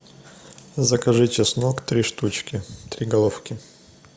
закажи чеснок три штучки три головки